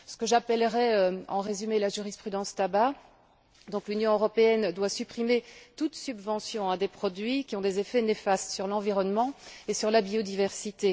C'est ce que j'appellerai, en résumé, la jurisprudence tabac l'Union européenne doit supprimer toute subvention à des produits qui ont des effets néfastes sur l'environnement et sur la biodiversité.